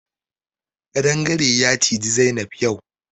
Ƙadangare ya ciji Zainab yau.